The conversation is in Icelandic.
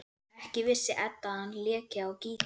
Ekki vissi Edda að hann léki á gítar.